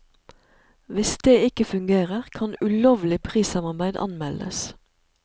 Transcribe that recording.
Hvis det ikke fungerer, kan ulovlig prissamarbeid anmeldes.